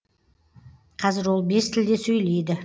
қазір ол бес тілде сөйлейді